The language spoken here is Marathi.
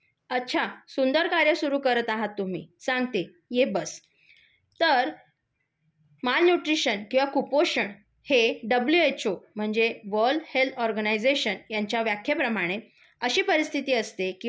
अच्छा, सुंदर कार्य सुरू करत आहात तुम्ही. सांगते. ये बस. तर माल न्यूट्रिशन किंवा कुपोषण हे डब्ल्यूएचओ म्हणजे वर्ल्ड हेल्थ ऑर्गनायझेशन यांच्या व्याख्येप्रमाणे अशी परिस्थिति असते